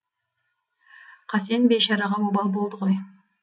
қасен бейшараға обал болды ғой